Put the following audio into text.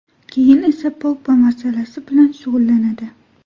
Keyin esa Pogba masalasi bilan shug‘ullanadi.